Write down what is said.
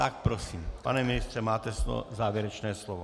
Tak prosím, pane ministře, máte závěrečné slovo.